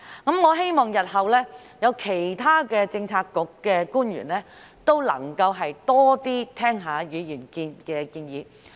我希望日後其他政策局的官員也可以多聆聽議員的建議。